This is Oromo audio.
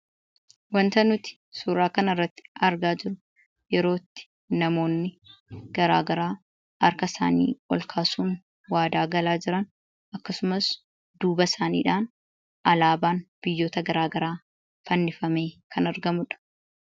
Wanta nuti suuraa kana irratti argaa jirru yeroo itti namoonni garaagaraa harkasaanii ol kaasuun waadaa galaa jiran, akkasumas duuba isaaniidhaan alaabaan biyyoota garaagaraa fannifamee kan argamu dha.